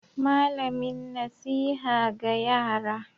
Malamin nasiha ga yara.